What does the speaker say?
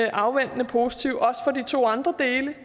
afventende positive også til de to andre dele